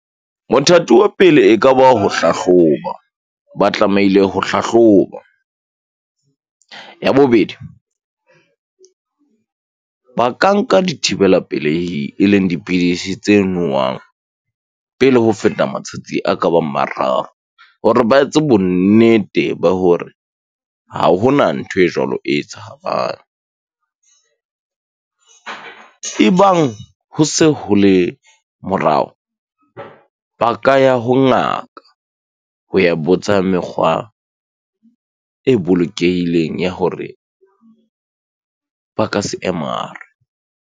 Mothati wa pele e ka ba ho hlahloba. Ba tlamehile ho hlahloba. Ya bobedi, ba ka nka dithibela pelehi, e leng dipidisi tse nowang pele ho feta matsatsi a ka bang mararo hore ba etse bonnete ba hore ha hona ntho e jwalo e tshabang. Ebang ho se ho le morao ba ka ya ho ngaka, ho ya botsa mekgwa e bolokehileng ya hore ba ka se emare.